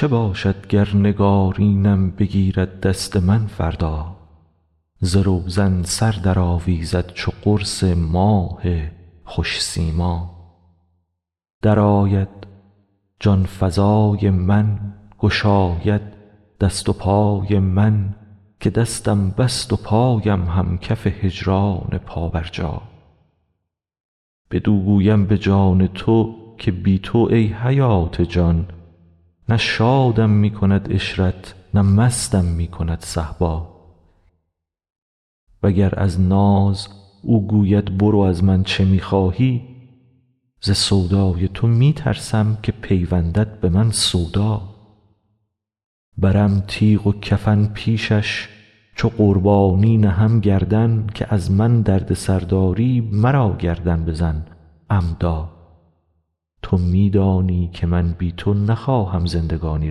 چه باشد گر نگارینم بگیرد دست من فردا ز روزن سر درآویزد چو قرص ماه خوش سیما درآید جان فزای من گشاید دست و پای من که دستم بست و پایم هم کف هجران پابرجا بدو گویم به جان تو که بی تو ای حیات جان نه شادم می کند عشرت نه مستم می کند صهبا وگر از ناز او گوید برو از من چه می خواهی ز سودای تو می ترسم که پیوندد به من سودا برم تیغ و کفن پیشش چو قربانی نهم گردن که از من دردسر داری مرا گردن بزن عمدا تو می دانی که من بی تو نخواهم زندگانی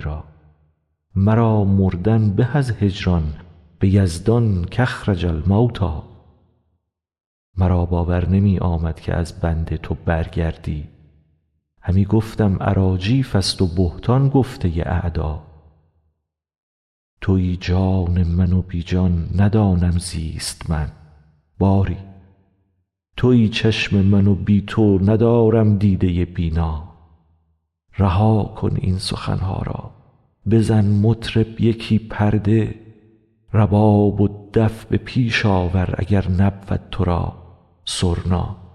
را مرا مردن به از هجران به یزدان کاخرج الموتی مرا باور نمی آمد که از بنده تو برگردی همی گفتم اراجیفست و بهتان گفته اعدا توی جان من و بی جان ندانم زیست من باری توی چشم من و بی تو ندارم دیده بینا رها کن این سخن ها را بزن مطرب یکی پرده رباب و دف به پیش آور اگر نبود تو را سرنا